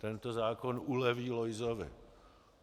Tento zákon uleví Lojzovi.